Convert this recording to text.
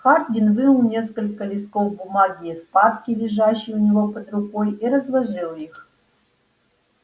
хардин вынул несколько листков бумаги из папки лежащей у него под рукой и разложил их